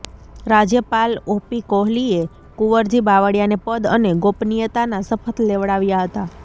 રાજ્યપાલ O P Kohli એ કુંવરજી બાવળિયાને પદ અને ગોપનિયતાના શપથ લેવડાવ્યા હતા